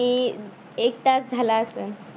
मी एक तास झाला असंल.